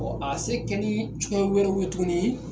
a ye se kɛ ni fɛn wɛrɛw ye tuguni.